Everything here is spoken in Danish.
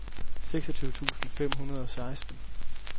seksogtyve tusind fem hundrede og seksten